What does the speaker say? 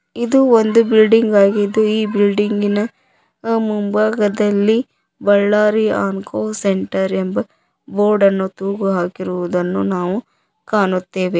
ಇದು ಒಂದು ಬಿಲ್ಡಿಂಗ್ ಆಗಿದ್ದು ಈ ಬಿಲ್ಡಿಂಗಿನ ಮುಂಭಾಗದಲ್ಲಿ ಬಳ್ಳಾರಿ ಅನ್ಕೊ ಸೆಂಟರ್ ಎಂಬ ಬೋರ್ಡ್ ಅನ್ನು ತೂಗುಹಾಕಿರುವುದನ್ನು ನಾವು ಕಾಣುತ್ತೇವೆ.